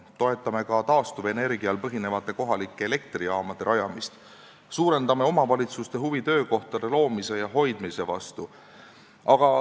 Toetame ka taastuvenergial põhinevate kohalike elektrijaamade rajamist ning suurendame omavalitsuste huvi töökohtade loomise ja hoidmise vastu.